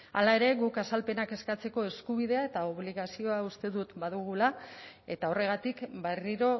hara ere guk azalpenak eskatzeko eskubidea eta obligazioa uste dut badugula eta horregatik berriro